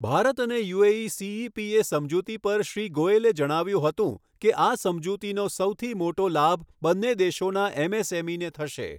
ભારત અને UAE CEPA સમજૂતી પર શ્રી ગોયલે જણાવ્યું હતું કે, આ સમજૂતીનો સૌથી મોટો લાભ બંને દેશોના એમએસએમઇને થશે.